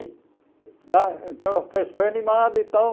Da então a festa foi animada e tal.